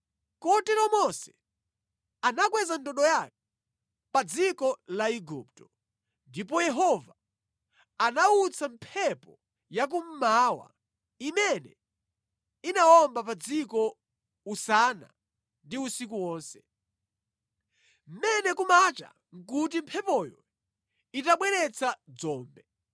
Kotero Mose anakweza ndodo yake pa dziko la Igupto, ndipo Yehova anawutsa mphepo ya kummawa imene inawomba pa dziko usana ndi usiku wonse. Mmene kumacha nʼkuti mphepoyo itabweretsa dzombe.